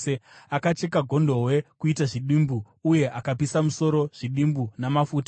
Akacheka gondobwe kuita zvidimbu uye akapisa musoro, zvidimbu namafuta.